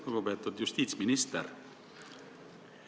Lugupeetud justiitsminister!